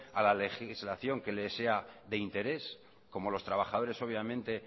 a la legislación que le sea de interés como los trabajadores obviamente